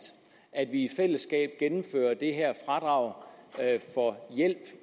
at vi i fællesskab gennemfører det her fradrag for hjælp